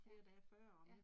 Ja, ja